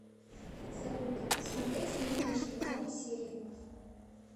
салют смотреть мимимишки новые серии